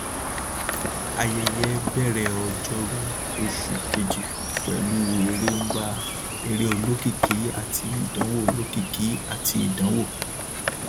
ayẹyẹ bẹrẹ ọjọrú oṣù kejì pẹlú eré nba eré olókìkí àti ìdánwò olókìkí àti ìdánwò